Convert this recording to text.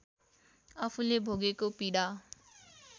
आफूले भोगेको पीडा